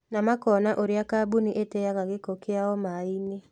Na makoona ũrĩa kambuni iteaga gĩko kiao maaĩ-inĩ